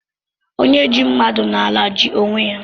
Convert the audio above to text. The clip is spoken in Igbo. Onye ji mmadụ n'ala, ji onwe ya